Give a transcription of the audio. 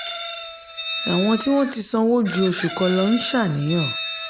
àwọn tí wọ́n ti sanwó ju oṣù kan lọ ń ṣàníyàn.